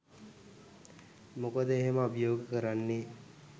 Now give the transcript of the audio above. මොකද එහෙම අභියෝග කරන්නේ